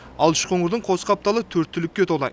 ал үшқоңырдың қос қапталы төрт түлікке толы